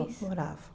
Moravam.